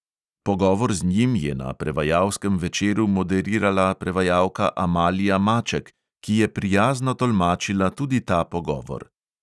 Pogovor z njim je na prevajalskem večeru moderirala prevajalka amalija maček, ki je prijazno tolmačila tudi ta pogovor.